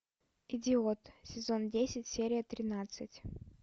идиот сезон десять серия тринадцать